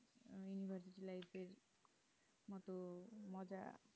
মজা